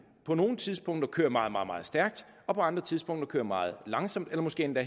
på nogle tidspunkter kører meget meget stærkt og på andre tidspunkter kører meget langsomt eller måske endda